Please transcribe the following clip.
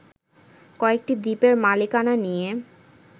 কয়েকটি দ্বীপের মালিকানা নিয়ে